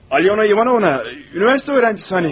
Alyona İvanova, universitet tələbəsi hani?